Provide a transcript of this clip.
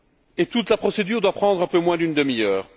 Et toute la procédure doit prendre un peu moins d'une demi heure.